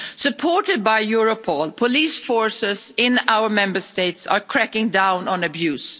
Supported by Europol, police forces in our Member States are cracking down on abuse.